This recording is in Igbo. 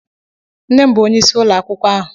Nne m bụ onyeisi ụlọ akwụkwọ ahụ.